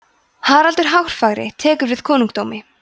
haraldur hárfagri tekur við konungdómi